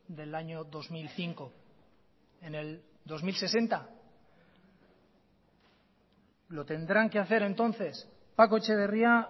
del año dos mil cinco en el dos mil sesenta lo tendrán que hacer entonces paco etxeberria